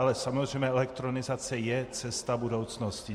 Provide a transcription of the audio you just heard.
Ale samozřejmě elektronizace je cesta budoucnosti.